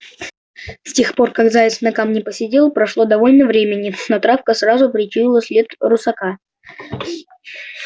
с тех пор как заяц на камне посидел прошло довольно времени но травка сразу причуяла след русака